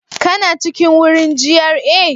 Kana cikin wurin jiar